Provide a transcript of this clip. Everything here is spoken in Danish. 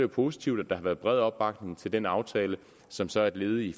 positivt at der har været bred opbakning til den aftale som så er et led i